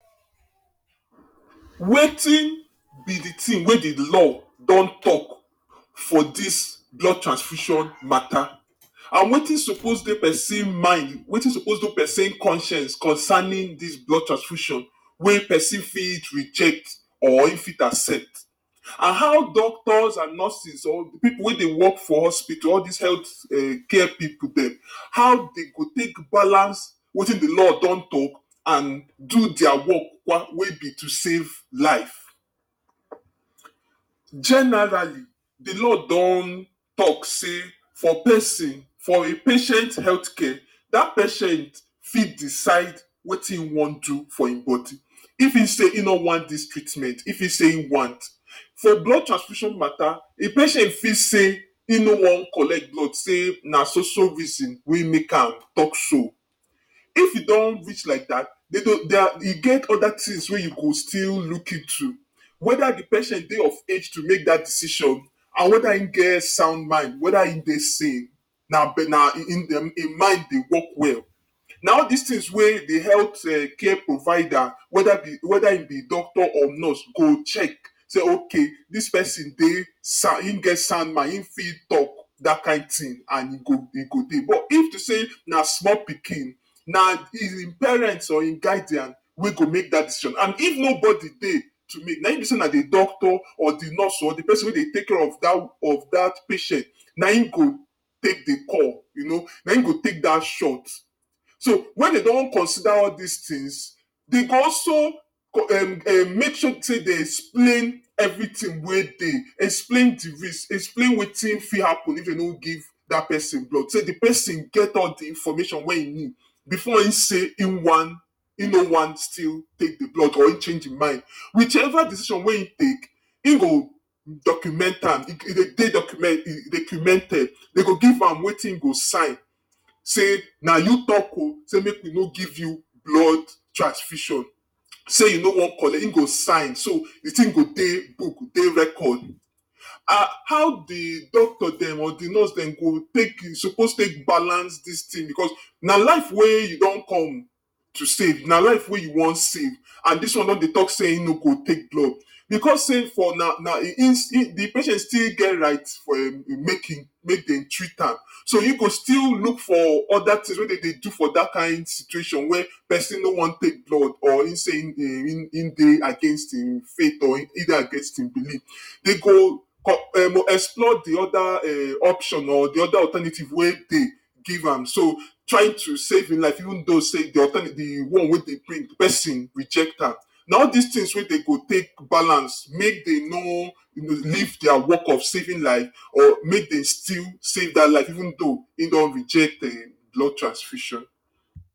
Wetin be de tin wey de law don talk for dis blood transfusion mata. And wetin suppose dey person mind wetin suppose dey person conscience concerning dis blood transfusion wey person fit reject or im fit accept and how doctors and nurses or pipu wey dey work for hospital, all dis health um care pipu dem, how dey go take balance wetin de law don talk and do dia work wey be to save lives? Generally, de law don talk say for person for a patient health care, dat patient fit decide wetin im wan do for im body, if im say im no want dis treatment if im say im want. For blood transfusion mata, a patient fit say im no want collect blood, sey na so so reason wey make am talk so. If e don reach like dat de go dia e get other things wey you go still look into whether de patient dey of age to make dat decision and whether im get sound mind whether im dey sane na im im mind dey work well, na all dis tins wey de health um care provider whether de whether im be doctor or nurse go check, sey ok dis person dey sound im get sound mind im fit talk dat kind tin and e go e go dey but if to sey na small pikin, na im parent or im guardian wey go make dat decision and if no bodi dey to make na im be sey na de doctor or de nurse or de person wey dey take care of dat of dat patient na im go take de call you know na im go take dat shot, so wen dem don consider all dis tins, dem go also um make sure sey dem explain everything wey dey, explain de risk, explain wetin fit happen if dem no give dat person blood, say de person get all de information wey im need before im say im want Im no want still take de blood or im change im mind whichever decision wey im take, im go document am, e dey document dey documented dey go give am wetin im go sign sey, na you talk o say make we no give you blood transfusion, sey you no want collect, im go sign so de tin dey book dey record. And how de doctor dem or de nurse dem go take suppose take balance dis thing becos na life wey you don come to save na life wey you want save and dis one don dey talk say im no go take blood becos sey for na na im still, de patient still get right for im make im make dem treat am so im go still look for oda things wey dem dey do for dat kin situation wey person no want take blood or im say im im dey against im faith or e dey against im believe dem go explore de other um option or de other alternative wey dey, give am so try to save im life even though sey de alternative de one wey dem bring de person reject am. Na all dis things wey dey go take balance make dem no you know leave dia work of saving life or make dem still save dat life even though im don reject um blood transfusion.